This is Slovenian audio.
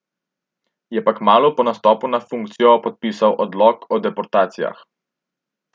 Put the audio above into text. Je pa kmalu po nastopu na funkcijo podpisal odlok o deportacijah.